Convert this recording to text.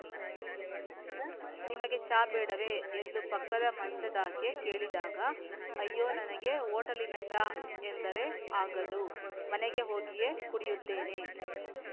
ನಿಮಗೆ ಚಾ ಬೇಡವೇ ಎಂದು ಪಕ್ಕದ ಮಂಚದಾಕೆ ಕೇಳಿದಾಗ ಅಯ್ಯೊ ನನಗೆ ಹೊಟೇಲಿನ ಚಾ ಎಂದರೆ ಆಗದು ಮನೆಗೆ ಹೋಗಿಯೇ ಕುಡಿಯುತ್ತೇನೆ